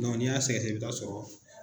n'i y'a sɛgɛsɛgɛ i bɛ taa sɔrɔ